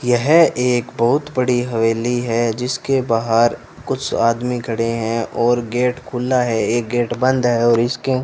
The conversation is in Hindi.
यह एक बहुत बड़ी हवेली है जिसके बाहर कुछ आदमी खड़े हैं और गेट खुला है एक गेट बंद है और इसके --